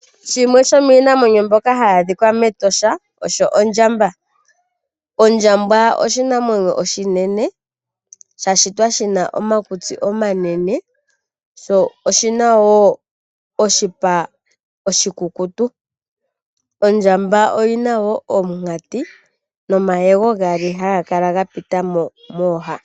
Shimwe shomiinamwenyo mbyoka hayi adhika metosha osho ondjamba . Ondjamba oshinamwenyo oshinene sha shitwa shina omakutsi omanene sho oshinawo oshipa oshikukutu .Ondjamba oyinawo omunkati nomayego gaali haga kala ga pita mooha.